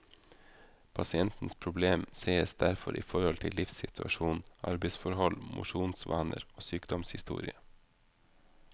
Pasientens problem sees derfor i forhold til livssituasjon, arbeidsforhold, mosjonsvaner og sykdomshistorie.